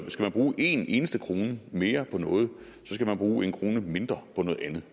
man bruge en eneste krone mere på noget skal man bruge en krone mindre på noget andet